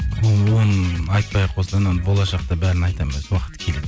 оны айтпай ақ қойсам болашақта бәрін айтамын өзім уақыты келеді